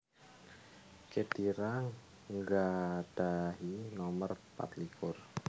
Khedira nggadhahi nomer pat likur